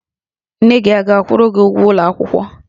Nne gị ọ ga-akwụrụ gi ụgwọ ụlọ akwụkwọ?